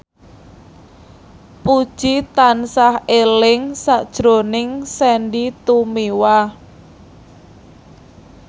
Puji tansah eling sakjroning Sandy Tumiwa